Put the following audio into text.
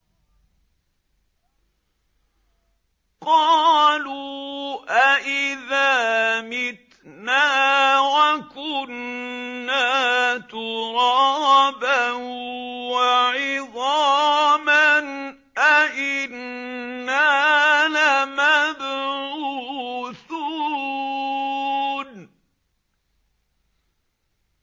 قَالُوا أَإِذَا مِتْنَا وَكُنَّا تُرَابًا وَعِظَامًا أَإِنَّا لَمَبْعُوثُونَ